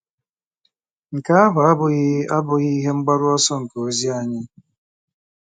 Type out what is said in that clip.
Nke ahụ abụghị abụghị ihe mgbaru ọsọ nke ozi anyị.